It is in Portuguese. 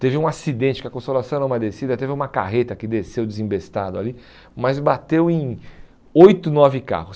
Teve um acidente que a consolação era uma descida, teve uma carreta que desceu desembestado ali, mas bateu em oito, nove carros.